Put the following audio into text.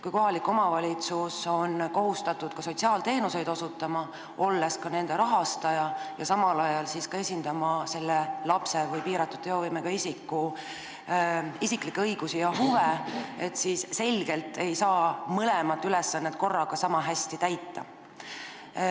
Kui kohalik omavalitsus on kohustatud sotsiaalteenuseid osutama, olles ka nende rahastaja, ja samal ajal peab ta esindama selle lapse või piiratud teovõimega isiku isiklikke õigusi ja huve, siis on selge, et mõlemat ülesannet korraga ei saa sama hästi täita.